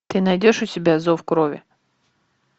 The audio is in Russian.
ты найдешь у себя зов крови